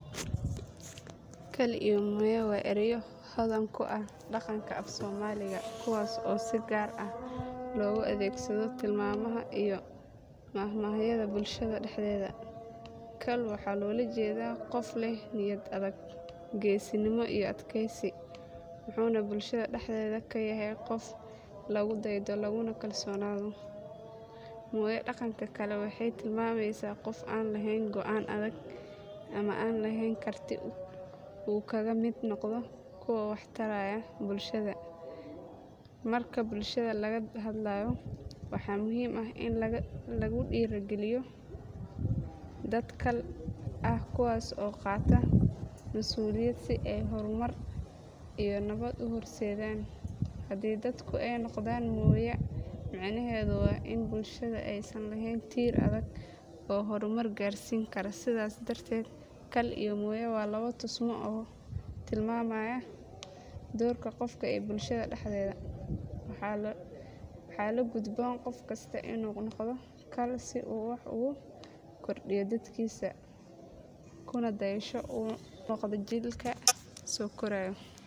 Kal iyo mooya waa erayo hodan ku ah dhaqanka af Soomaaliga kuwaas oo si gaar ah loogu adeegsado tilmaamaha iyo maahmaahyada bulshada dhexdeeda. Kal waxaa loola jeedaa qof leh niyad adag, geesinimo iyo adkaysi wuxuuna bulshada dhexdeeda ka yahay qof lagu daydo laguna kalsoonaado. Mooya dhanka kale waxay tilmaamaysaa qof aan lahayn go’aan adag ama aan lahayn karti uu kaga mid noqdo kuwa wax taraya bulshada. Marka bulshada laga hadlayo, waxaa muhiim ah in lagu dhiirrigeliyo dad kal ah kuwaas oo qaata masuuliyad si ay horumar iyo nabad u horseedaan. Haddii dadku ay noqdaan mooya, micnaheedu waa in bulshada aysan lahayn tiir adag oo horumar gaarsiin kara sidaas darteed kal iyo mooya waa labo tusmo oo tilmaamaya doorka qofka ee bulshada dhexdeeda. Waxaa la gudboon qof kasta inuu noqdo kal si uu wax ugu kordhiyo dadkiisa kuna dayasho u noqdo jiilka soo koraya.